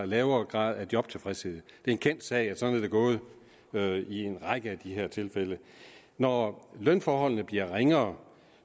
lavere grad af jobtilfredshed det er en kendt sag at sådan er det gået i en række af de her tilfælde når lønforholdene bliver ringere